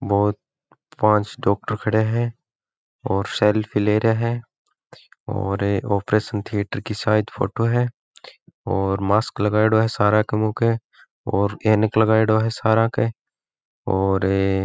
बहुत पांच डॉक्टर खड़े हैं और सेल्फी ले रहे हैं और ऑपरेशन थिएटर की शायद फोटो है और मास्क लगयेड़ो हैं सारा के मुंह के और ऐनक लगयेड़ो हैं सारा के और --